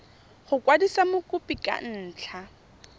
go kwadisa mokopi ka ntlha